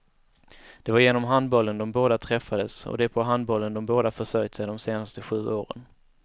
Det var genom handbollen de båda träffades, och det är på handbollen de båda försörjt sig de senaste sju åren.